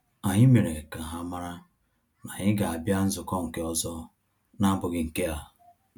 Anyị mere ka ha mara na anyị ga abia nzukọ nke ọzọ na-abụghị nke a